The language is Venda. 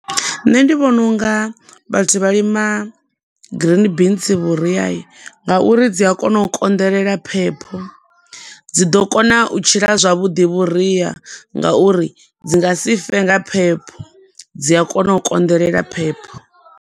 Nṋe ndi vhona unga vhathu vhalima green beans vhuria nga uri dzi a kona u konḓelela phepho, dzi ḓo kona u tshila zwavhuḓi vhuria nga uri dzi nga sife nga phepho, dzi a kona u konḓelela phepho.